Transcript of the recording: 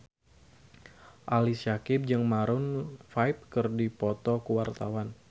Ali Syakieb jeung Maroon 5 keur dipoto ku wartawan